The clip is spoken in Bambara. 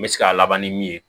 N bɛ se k'a laban ni min ye